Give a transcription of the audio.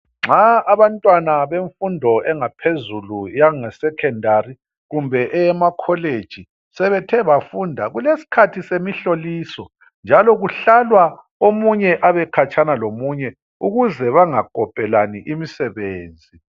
Nxa abantwana bemfundo engaphezulu yangesecondary kumbe eyemacollege sebethe bafunda kulesikhathi semhloliso njalo kuhlala omunye abekhatshana lomunye ukuze bengakopelani imisebenzi.